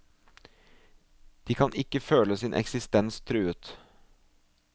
De kan føle sin eksistens truet.